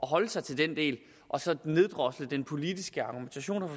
holde sig til den del og så neddrosle den politiske argumentation